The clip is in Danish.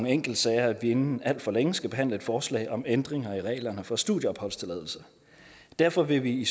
enkeltsager at vi inden alt for længe skal behandle et forslag om ændringer i reglerne for studieopholdstilladelse derfor vil vi i